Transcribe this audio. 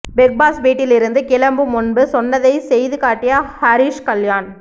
big Boss வீட்டில் இருந்து கிளம்பும் முன்பு சொன்னதை செய்துகாட்டிய ஹரிஷ் கல்யாண்